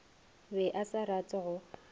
be a sa rate go